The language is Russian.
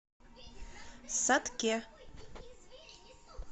сатке